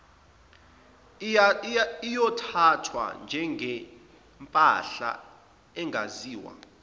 iyothathwa njengempahla engaziwa